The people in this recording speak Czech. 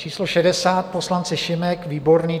Číslo 60 poslanci Šimek, Výborný.